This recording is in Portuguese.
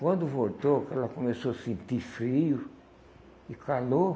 Quando voltou, que ela começou a sentir frio e calor,